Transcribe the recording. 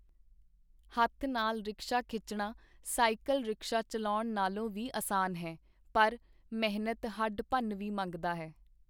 ਹੱਥ ਨਾਲ ਰਿਕਸ਼ਾ ਖਿੱਚਣਾ ਸਾਈਕਲ ਰਿਕਸ਼ਾ ਚੱਲਾਉਣ ਨਾਲੋਂ ਵੀ ਅਸਾਨ ਹੈ, ਪਰ ਮਿਹਨਤ ਹੱਡ-ਭੰਨਵੀਂ ਮੰਗਦਾ ਹੈ.